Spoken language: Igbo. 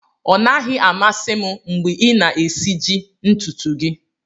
Ọ naghị amasị m mgbe ị na-esiji ntutu gị